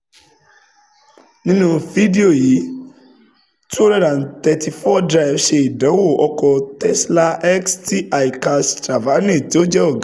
Nínú fídíò yìí, two hundred and thirty four Drive ṣe ìdánwò ọkọ̀ Tesla X tí Alkesh Thavrani tó jẹ́ ọ̀gá